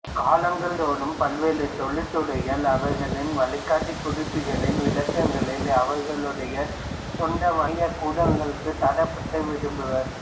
காலங்கள் தோறும் பல்வேறு தொழிற்துறைகள் அவர்களின் வழிகாட்டிகுறிப்புகளின் விளக்கங்களை அவர்களுடைய சொந்த வணிகக் கூடங்களுக்குள் தரப்படுத்த விரும்புவர்